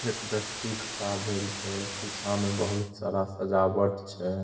एक व्यक्ति खड़ा भेल छै पीछा में बहुत सारा सजावट छै।